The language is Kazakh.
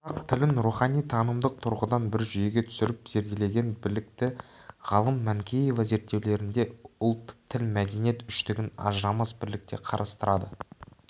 қазақ тілін рухани-танымдық тұрғыдан бір жүйеге түсіріп зерделеген білікті ғалым манкеева зерттеулерінде ұлт-тіл-мәдениет үштігін ажырамас бірлікте қарастырады